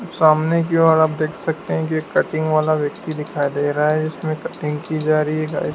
सामने की ओर आप देख सकते हैं की कटिंग वाला व्यक्ति दिखाई दे रहा है इसमें कटिंग की जा रही है गाइज़ --